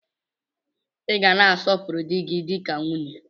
Ị ga na-asọpuru dị gi dịka nwunye!